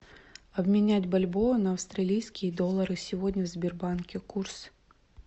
обменять бальбоа на австралийские доллары сегодня в сбербанке курс